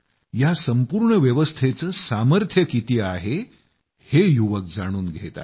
या संपूर्ण व्यवस्थेचं सामर्थ्य किती आहे हे युवक जाणून घेत आहेत